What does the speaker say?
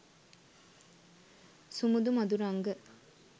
sumudu maduranga